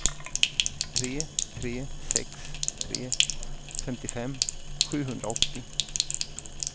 tre tre sex tre femtiofem sjuhundraåttio